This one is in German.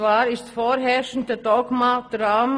Das vorherrschende Dogma lautet: